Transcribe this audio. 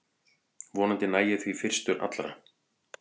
Vonandi næ ég því fyrstur allra